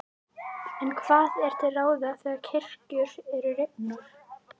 En hvað er til ráða þegar kirkjur eru rifnar?